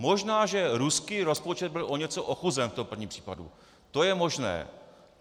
Možná že ruský rozpočet byl o něco ochuzen v tom prvním případu, to je možné.